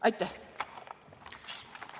Aitäh!